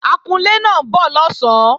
Akunlé náà ń bọ̀ lọ̀sán